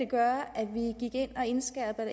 det gøre at vi gik ind og indskærpede